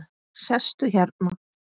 Sestu hérna.